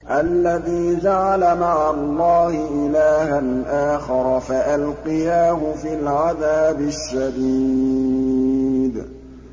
الَّذِي جَعَلَ مَعَ اللَّهِ إِلَٰهًا آخَرَ فَأَلْقِيَاهُ فِي الْعَذَابِ الشَّدِيدِ